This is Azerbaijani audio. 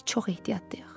Biz çox ehtiyatlıyıq.